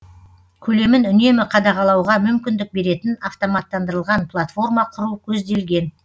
көлемін үнемі қадағалауға мүмкіндік беретін автоматтандырылған платформа құру көзделген